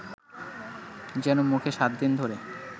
যেনো মুখে সাতদিন ধ’রে